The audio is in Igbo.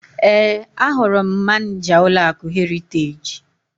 Ee, ahụrụ m Manịja ụlọakụ Heriteji.